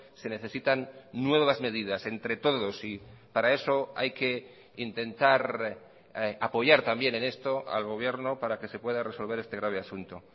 se necesitan nuevas medidas entre todos y para eso hay que intentar apoyar también en esto al gobierno para que se pueda resolver este grave asunto